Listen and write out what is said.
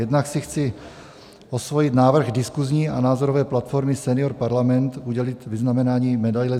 Jednak si chci osvojit návrh diskusní a názorové platformy Senior Parlament udělit vyznamenání medaile